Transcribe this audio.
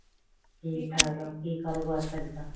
ਠੀਕ ਠਾਕ ਆ ਕਿ ਕਾਰੋਬਾਰ ਕਰੀਦਾ